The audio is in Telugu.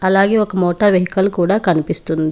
అలాగే ఒక మోటార్ వెహికల్ కూడా కనిపిస్తుంది.